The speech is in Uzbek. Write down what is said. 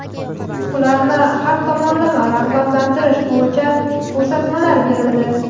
ularni har tomonlama rag‘batlantirish bo‘yicha ko‘rsatmalar berildi.